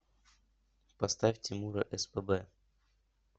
поставь тимура спб